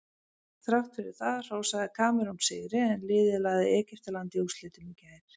Þrátt fyrir það hrósaði Kamerún sigri en liðið lagði Egyptaland í úrslitum í gær.